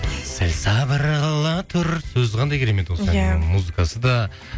сәл сабыр қыла тұр сөзі қандай керемет осы әннің иә музыкасы да